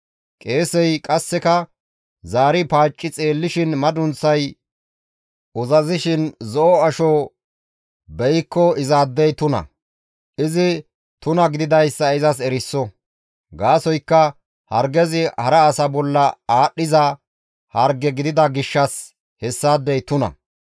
Qeesey qasseka zaari paacci xeellishin madunththay uzazishin zo7o asho beykko izaadey tuna; izi tuna gididayssa izas eriso; gaasoykka hargezi hara asa bolla aadhdhiza harge gidida gishshas hessaadey tuna.